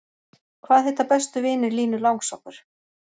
Hvaða heita bestu vinir Línu langsokkur?